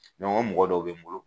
o mɔgɔ dɔw bɛ n bolo.